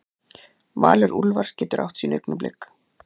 Valur Úlfars getur átt sín augnablik